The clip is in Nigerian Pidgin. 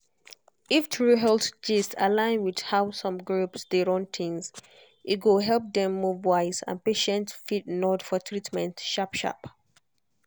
if true health gist align with how some groups dey run things e go help dem move wise and patient fit nod for treatment sharp-sharp.